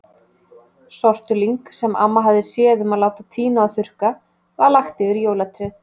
Sortulyng, sem amma hafði séð um að láta tína og þurrka, var lagt yfir jólatréð.